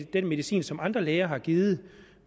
den medicin som andre læger har givet